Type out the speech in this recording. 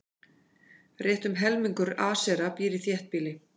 Rétt um helmingur Asera býr í þéttbýli.